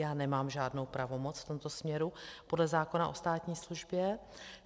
Já nemám žádnou pravomoc v tomto směru podle zákona o státní službě.